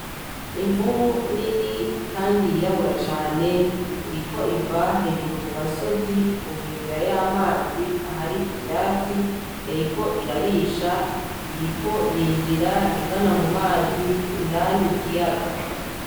Imvubu nini kandi yirabura cane iriko iva hejuru ku gasozi, ku nkengera y'amazi ahari ivyatsi yariko irarisha. Iriko yinjira igana mu mazi, indani mu kiyaga.